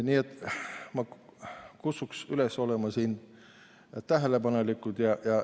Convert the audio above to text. Nii et ma kutsun üles olema tähelepanelik.